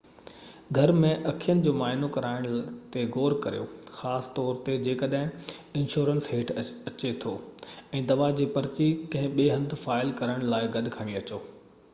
گهر ۾ اکين جو معائنو ڪرائڻ تي غور ڪريو خاص طور تي جيڪڏهن انشورنس هيٺ اچي ٿو ۽ دوا جي پرچي ڪنهن ٻئي هنڌ فائل ڪرڻ لاءِ گڏ کڻي اچو